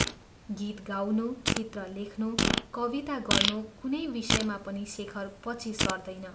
गीत गाउनु, चित्र लेख्नु, कविता गर्नु, कुनै विषयमा पनि शेखर पछि सर्दैन।